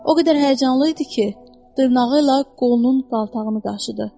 O qədər həyəcanlı idi ki, dırnağı ilə qolunun daltağını qaşıdı.